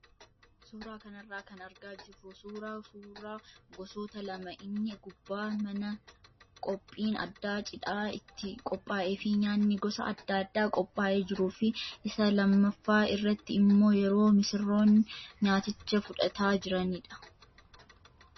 Suuraa kanarraa kan argaa jirru suuraa suuraa gosoota lama inni gubbaa mana qophiin addaa cidhaa itti qophaa'ee fi nyaanni gosa adda addaa qophaa'ee jiruu fi isa lammaaffaa irratti immoo yeroo misirroon nyaaticha fudhataa jiranidha.